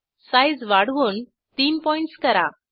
size वाढवून 30 PTS करा